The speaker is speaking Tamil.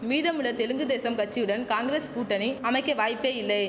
மீதமுள்ள தெலுங்கு தேசம் கச்சியுடன் காங்கிரஸ் கூட்டணி அமைக்க வாய்ப்பே இல்லை